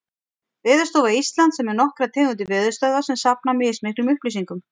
Veðurstofa Íslands er með nokkrar tegundir veðurstöðva sem safna mismiklum upplýsingum.